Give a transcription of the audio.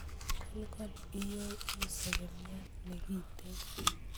Kolkol iyo u segemiat nekiten